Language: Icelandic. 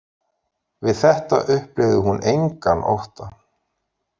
Við þetta upplifði hún engan ótta